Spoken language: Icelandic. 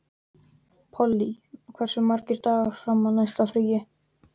Polly, hversu margir dagar fram að næsta fríi?